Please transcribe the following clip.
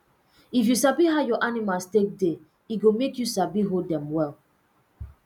if you sabi how your animals take de e go make you sabi hold dem well